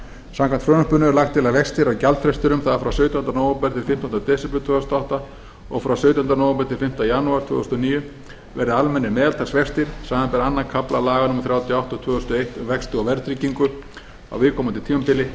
samkvæmt frumvarpinu er lagt til að vextir af gjaldfrestinum það er frá sautjándu nóvember til fimmtánda desember tvö þúsund og átta og frá sautjándu nóvember til fimmta janúar tvö þúsund og níu verði almennir meðaltalsvextir samanber aðra kafla laga númer þrjátíu og átta tvö þúsund og eitt um vexti og verðtryggingu á viðkomandi tímabili en